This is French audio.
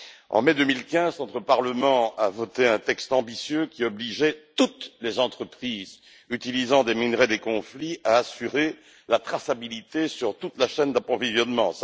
En mai 2015, notre Parlement a voté un texte ambitieux qui obligeait toutes les entreprises utilisant des minerais de conflit à assurer la traçabilité sur toute la chaîne d'approvisionnement.